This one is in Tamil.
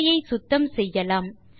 திரையை சுத்தம் செய்யலாம்